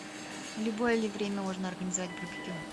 в любое ли время можно организовать барбекю